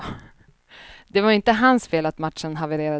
Det var inte hans fel att matchen havererade.